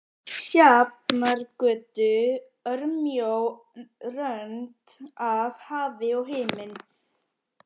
Sjafnargötu, örmjó rönd af hafi og himinn.